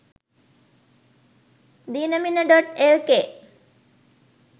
dinamina.lk